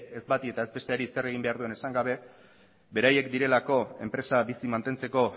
ez bati ez bestari zer egin behar duen esan gabe beraiek direlako enpresa bizi mantentzeko